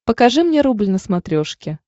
покажи мне рубль на смотрешке